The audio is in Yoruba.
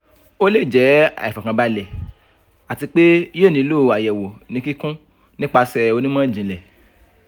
o le jẹ aifọkanbalẹ ati pe yoo nilo ayẹwo ni kikun nipasẹ onimọ-jinlẹ